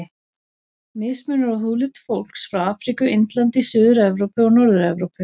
Mismunur á húðlit fólks frá Afríku, Indlandi, Suður-Evrópu og Norður-Evrópu.